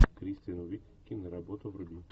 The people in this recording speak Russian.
кристен уиг киноработу вруби